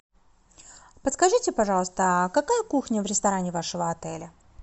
подскажите пожалуйста а какая кухня в ресторане вашего отеля